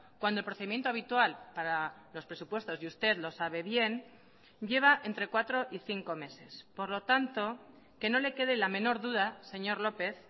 cuando el procedimiento habitual para los presupuestos y usted lo sabe bien lleva entre cuatro y cinco meses por lo tanto que no le quede la menor duda señor lópez